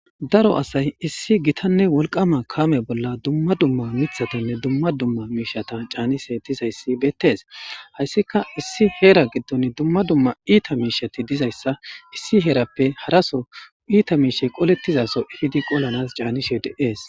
Daro asay issi gittane woliqama kamey bolla duma duma misheta canishe dizays betes hayska issi hera gidon duma duma ita mishetidizaysa haraso ita mishey qoletizason epidi qolanas canishe de'es